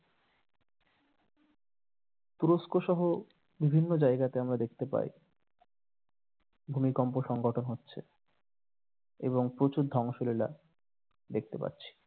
তুরস্ক সহ বিভিন্ন জায়গাতে আমরা দেখতে পাই ভূমিকম্প সংঘটন হচ্ছে এবং প্রচুর ধ্বংসলীলা দেখতে পাচ্ছি।